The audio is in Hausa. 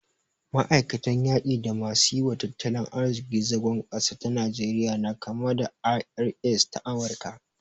Ma'aikatan yaki da masu yi wa tattalin arziki zagon ƙasa ta Najeriya na kama da ta IRS ta Amurika